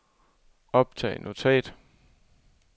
optag notat